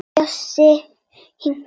Bjössi hikar.